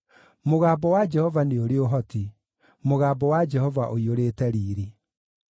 Mũgambo wa Jehova nĩ ũrĩ ũhoti; mũgambo wa Jehova ũiyũrĩte riiri.